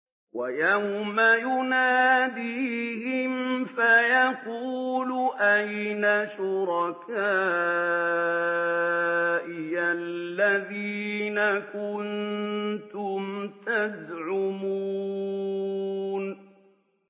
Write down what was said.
وَيَوْمَ يُنَادِيهِمْ فَيَقُولُ أَيْنَ شُرَكَائِيَ الَّذِينَ كُنتُمْ تَزْعُمُونَ